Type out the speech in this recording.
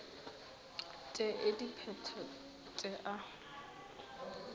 t e dipheto t a